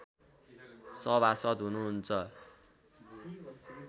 सभासद् हुनुहुन्छ